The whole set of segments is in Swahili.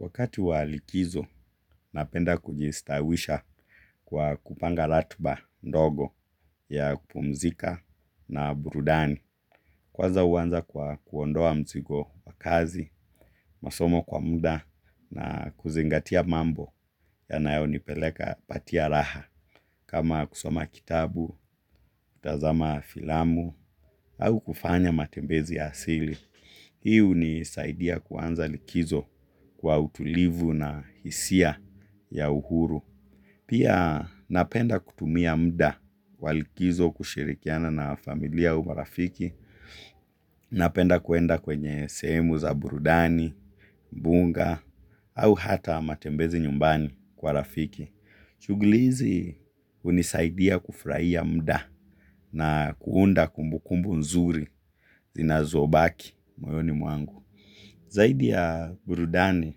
Wakati wa likizo, napenda kujistawisha kwa kupanga latiba ndogo ya kupumzika na burudani. Kwaza uwanza kwa kuondoa mzigo wa kazi, masomo kwa muda na kuzingatia mambo yanayo nipeleka patia raha. Kama kusoma kitabu, kutazama filamu au kufanya matembezi ya asili hi huni saidia kuanza likizo kwa utulivu na hisia ya uhuru. Pia napenda kutumia mda wa likizo kushirikiana na familia au marafiki. Napenda kuenda kwenye sehemu za burudani, bunga, au hata matembezi nyumbani kwa rafiki. Shuguli hizi hunisaidia kufurahia mda na kuunda kumbukumbu nzuri zinazobaki moyoni mwangu. Zaidi ya burudani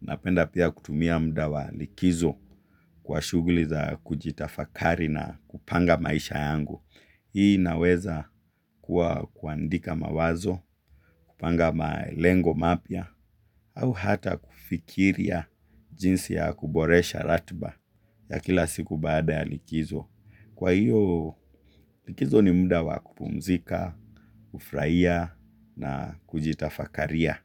napenda pia kutumia mda wa likizo kwa shuguliza kujitafakari na kupanga maisha yangu. Hii inaweza kuwa kuandika mawazo, kupanga malengo mapya au hata kufikiria jinsi ya kuboresha ratiba ya kila siku baada ya likizo kwa hio, likizo ni muda wa kupumzika kufurahia na kujitafakaria.